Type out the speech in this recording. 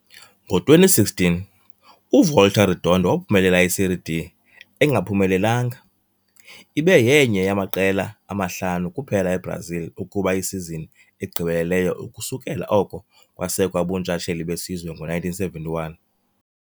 Ngo-2016, uVolta Redonda waphumelela iSerie D engaphumelelanga, ibe yenye yamaqela amahlanu kuphela eBrazil ukuba isizini egqibeleleyo ukusukela oko kwasekwa ubuntshatsheli besizwe ngo-1971.